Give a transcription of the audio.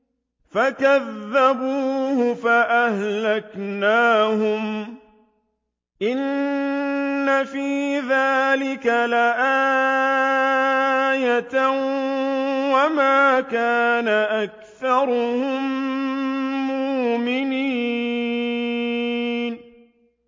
فَكَذَّبُوهُ فَأَهْلَكْنَاهُمْ ۗ إِنَّ فِي ذَٰلِكَ لَآيَةً ۖ وَمَا كَانَ أَكْثَرُهُم مُّؤْمِنِينَ